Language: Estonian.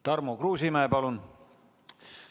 Tarmo Kruusimäe, palun!